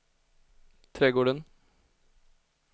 trädgården